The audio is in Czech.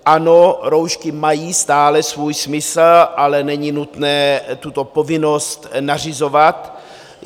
Ano, roušky mají stále svůj smysl, ale není nutné tuto povinnost nařizovat.